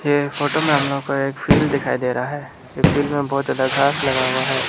यह फोटो में हम लोग को एक फील्ड दिखाई दे रहा है की फील्ड बहुत ज्यादा घास लगा हुआ है।